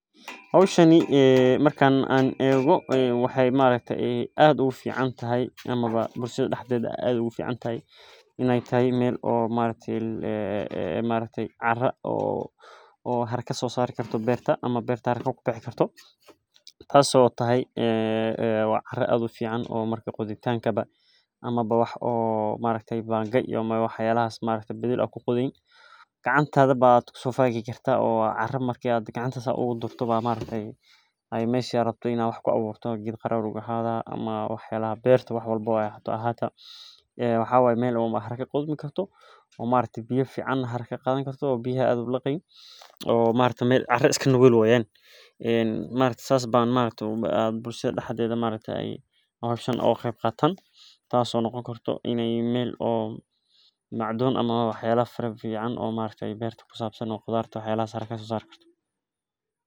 Hoshani marki an ego bulshaada daxdedha ayey ogu ficantahay in ee tahay meel cara sosari karto meel banga iyo badil aa ku qodhi karto oo biyaha aad ulaqi sas ban bulshaada daxdedha oga qeb qadan karaa tas oo ka cawisa si ee wax u saran wax sosarka.